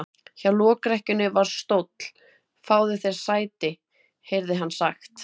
Hjá lokrekkjunni var stóll:-Fáðu þér sæti, heyrði hann sagt.